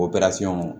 O